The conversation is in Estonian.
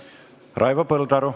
Raivo Põldaru.